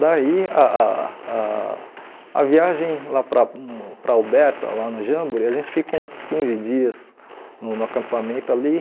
Daí ah ah ah a viagem lá para para Alberta, lá no Jamboree, a gente fica uns quinze dias no no acampamento ali.